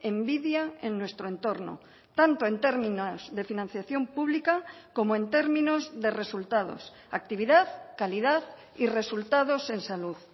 envidia en nuestro entorno tanto en términos de financiación pública como en términos de resultados actividad calidad y resultados en salud